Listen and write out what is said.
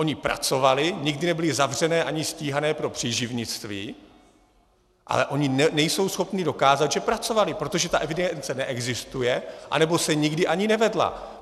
Ony pracovaly, nikdy nebyly zavřené ani stíhané pro příživnictví, ale ony nejsou schopny dokázat, že pracovaly, protože ta evidence neexistuje, anebo se nikdy ani nevedla.